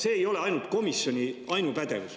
See ei ole komisjoni ainupädevus.